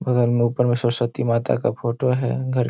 बगल में ऊपर में सरस्वती माता का फोटो है घर --